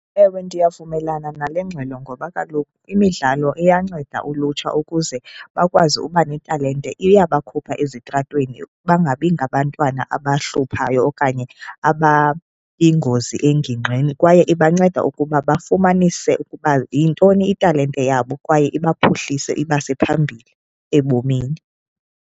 Ewe, ndiyavumelana nale ngxelo ngoba kaloku imidlalo iyanceda ulutsha ukuze bakwazi uba netalente. Iya bakhupha ezitratweni bangabi ngabantwana abahluphayo okanye abayingozi engingqini kwaye iba nceda ukuba bafumanise ukuba yintoni italente yabo kwaye iba phuhlise ibase phambili ebomini.